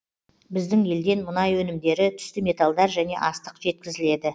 біздің елден мұнай өнімдері түсті металдар және астық жеткізіледі